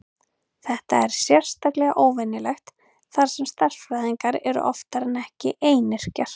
Þetta er sérstaklega óvenjulegt þar sem stærðfræðingar eru oftar en ekki einyrkjar.